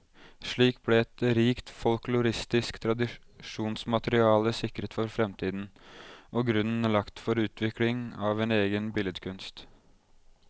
Slik ble et rikt folkloristisk tradisjonsmateriale sikret for fremtiden, og grunnen lagt for utviklingen av en egen billedkunst.